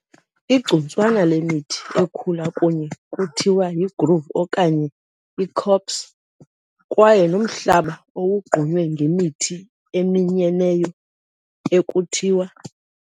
Igcuntswana lemithi ekhula kunye kuthiwa yigrove okanye icopse, kwaye nomhlaba owogqunywe ngemithi eminyeneyo ekuthiwa ].